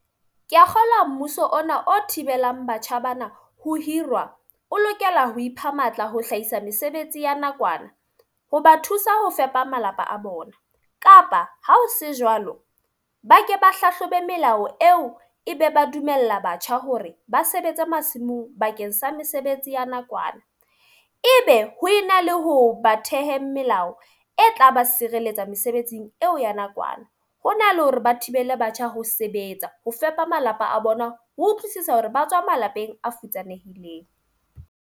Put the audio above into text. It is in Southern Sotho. Ke a kgolwa mmuso ona o thibelang batjha bana ho hirwa. O lokela ho ipha matla ho hlahisa mesebetsi ya nakwana ho ba thusa ho fepa malapa a bona. Kapa ha o se jwalo, ba ke ba hlahlobe melao eo e be ba dumella batjha hore ba sebetsa masimong bakeng sa mesebetsi ya nakwana. E be ho ena le ho ba thehe melao e tla ba sireletsa mesebetsing eo ya nakwana. Ho na le hore ba thibele batjha ho sebetsa ho fepa malapa a bona ho utlwisisa hore ba tswa malapeng a futsanehileng.